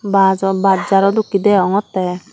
bajo baj jaro dokkey deongottey.